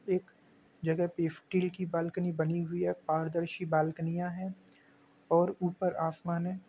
एक जगह पे स्टील की बालकनी बनी हुई है। पारदर्शी बाल्कनियां है और ऊपर आसमान है।